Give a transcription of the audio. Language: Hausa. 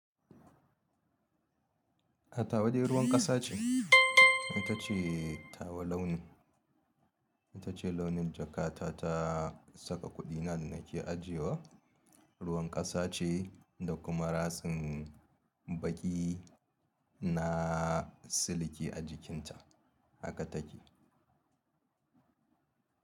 A tawa dai ruwan ƙasa ce, ita ce tawa launin, ita ce launin jakata ta saka kuɗina da nake ajiye wa. Ruwan ƙasa ce da kuma ratsin baƙi na siliki a jikinta haka take.